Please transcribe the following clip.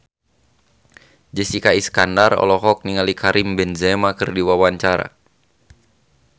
Jessica Iskandar olohok ningali Karim Benzema keur diwawancara